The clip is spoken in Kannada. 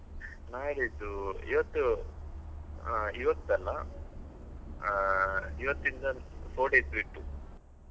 ನಾಡಿದ್ದು ಇವತ್ತು ಆ ಇವತ್ತಲ್ಲ ಆ ಇವತ್ತಿಂದ four days ಬಿಟ್ಟು.